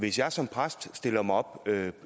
hvis jeg som præst stiller mig op